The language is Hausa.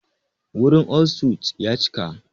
Wurin all suites ya cika.